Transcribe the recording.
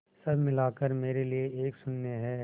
सब मिलाकर मेरे लिए एक शून्य है